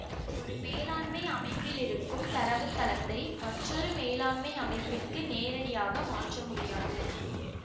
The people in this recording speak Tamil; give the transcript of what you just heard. ஒரு மேலாண்மை அமைப்பிலிருக்கும் தரவுத்தளத்தை மற்றொரு மேலாண்மை அமைப்பிற்கு நேரடியாக மாற்ற முடியாது